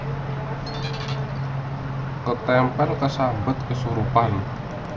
Ketemper kesambet kesurupan